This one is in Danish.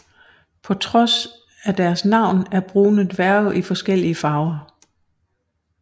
På trods af deres navn er brune dværge i forskellige farver